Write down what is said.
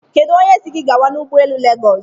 Kedu si gi gawa n'ụgbọelu Legos?